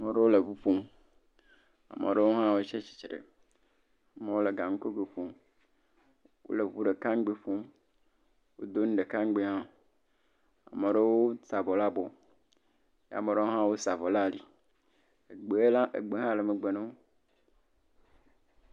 Ame ɖewo le ŋu ƒom, ame ɖewo hã wo tsatsitre, amewo le ganugoe ƒom, wole ŋu ɖeka ŋugbee ƒom, ame ɖewo da avɔ ɖe abɔ, ame ɖewo hã wosa avɔ ɖe ali… egbe hã le megbe na wo.